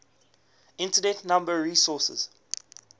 internet number resources